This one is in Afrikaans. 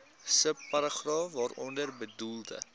subparagraaf waaronder bedoelde